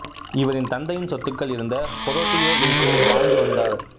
இவரின் தந்தையின் சொத்துக்கள் இருந்த ஹொரோடியோ வில்சில் வாழ்ந்து வந்தார்